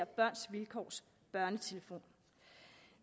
børns vilkårs børnetelefon